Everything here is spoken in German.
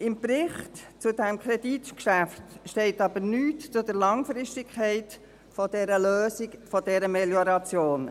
Im Bericht zu diesem Kreditgeschäft steht nichts zur Langfristigkeit dieser Lösung der Melioration.